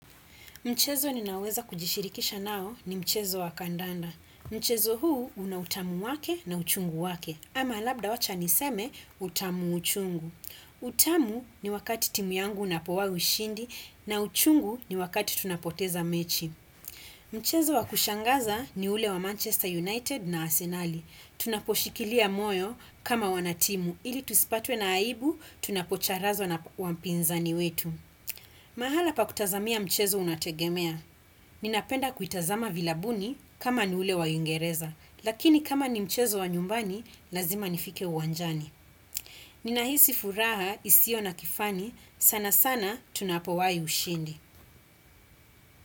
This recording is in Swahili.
Mchezo ninaweza kujishirikisha nao ni mchezo wa kandanda. Mchezo huu una utamu wake na uchungu wake, ama labda wacha niseme utamu uchungu. Utamu ni wakati timu yangu unapowa ushindi na uchungu ni wakati tunapoteza mechi. Mchezo wa kushangaza ni ule wa Manchester United na Arsenali. Tunaposhikilia moyo kama wanatimu, ili tusipatwe na aibu tunapocharazwa na wa pinzani wetu. Mahala pa kutazamia mchezo unategemea. Ninapenda kuitazama vilabuni kama ni ule wa uingereza, lakini kama ni mchezo wa nyumbani, lazima nifike uwanjani. Ninahisi furaha isio na kifani, sana sana tunapowahi ushindi.